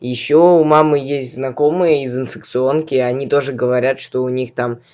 ещё у мамы есть знакомые из инфекционки они тоже говорят что у них там